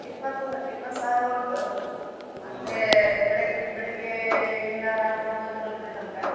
ಇಪ್ಪತ್ತು ಇಪ್ಪತ್ತು ಸಾವ್ರ ಉಂಟು ಬೆಳಿಗ್ಗೆ ಬೆಳಿಗ್ಗೆ ಇಂದ ರಾತ್ರಿ ಒಂಬತ್ತ್ ಗಂಟೆ ತನ್ಕ.